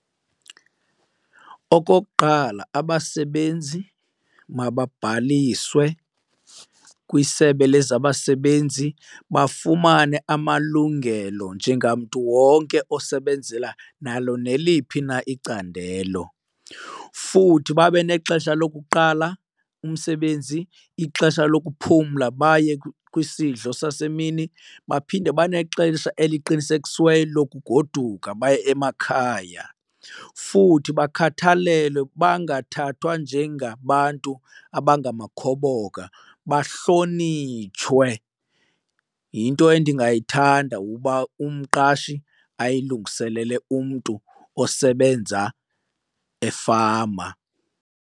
Okokuqala, abasebenzi mababhaliswe kwisebe lezabasebenzi bafumane amalungelo njengamntu wonke osebenzela nalo neliphi na icandelo. Futhi babe nexesha lokuqala umsebenzi, ixesha lokuphumla baye kwisidlo sasemini, baphinde banexesha eliqinisekisiweyo lokugoduka baye emakhaya. Futhi bakhathalelwe bangathathwa njengabantu abangamakhoboka, bahlonitshwe. Yinto endingathanda ukuba umqashi ayilungiselele umntu osebenza efama.